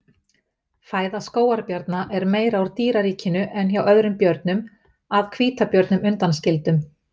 Fæða skógarbjarna er meira úr dýraríkinu en hjá öðrum björnum að hvítabjörnum undanskildum.